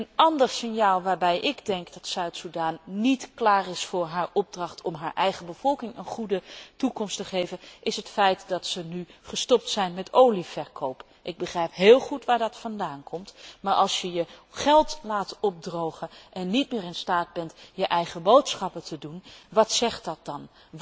Een ander signaal dat me geeft te denken dat Zuid Soedan niet klaar is voor zijn opdracht om de eigen bevolking een goede toekomst te geven, is het feit dat het nu gestopt is met olieverkoop. Ik begrijp heel goed wat daar de reden van is, maar als je je geld laat opdrogen en niet meer in staat bent je eigen boodschappen te doen, wat zegt dat dan?